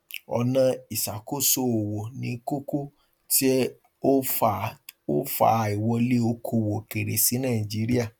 ọnà iṣàkósoowó ni kókó tí ó fa ó fa àìwọlé okòòwò òkèèrè sí nàìjíríà